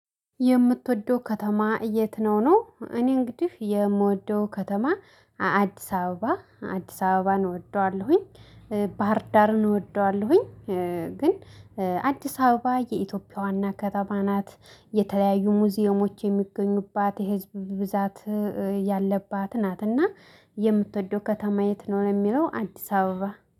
የምትወደው ከተማ የት ነው? እኔ እንግዲህ የምወደው ከተማ አዲስ አበባ አዲስ አበባን እወደዋለሁኝ። ባህር ዳርን እወደዋለሁኝ። ግን አዲስ አበባ የኢትዮጵያ ዋና ከተማ ናት። የተለያዩ ሙዚየሞች የሚገኙባት የህዝብ ብዛት ያለባት ናትና። የምትወደው ከተማ የት ነው? ለሚለው አዲስ አበባ